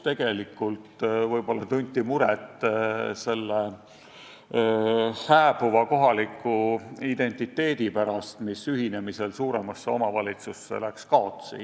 Tegelikult võib-olla tunti muret hääbuva kohaliku identiteedi pärast, mis ühinemisel suurema omavalitsusega kipub kaotsi minema.